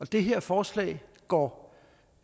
det her forslag går